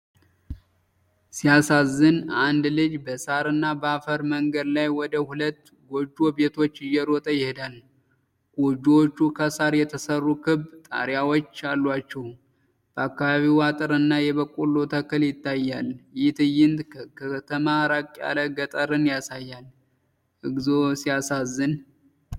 ሲያሳዝን! አንድ ልጅ በሣርና በአፈር መንገድ ላይ ወደ ሁለት ጎጆ ቤቶች እየሮጠ ይሄዳል። ጎጆዎቹ ከሳር የተሠሩ ክብ ጣሪያዎች አሏቸው። በአካባቢው አጥርና የበቆሎ ተክል ይታያል። ይህ ትዕይንት ከከተማ ራቅ ያለ ገጠርን ያሳያል። እግዚኦ ሲያሳዝን!